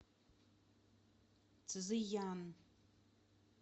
цзыян